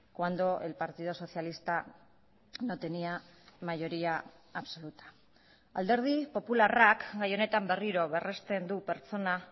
cuando el partido socialista no tenía mayoría absoluta alderdi popularrak gai honetan berriro berresten du pertsona